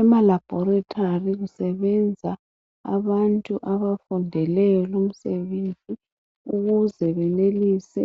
Emalaboratory kusebenza abantu abafundele lumsebenzi ukuze benelise